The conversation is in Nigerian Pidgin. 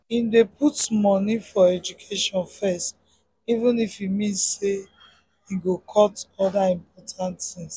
him dey put money for education first even if e mean say him go cut other important things.